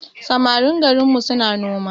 Samarin garinmu suna noma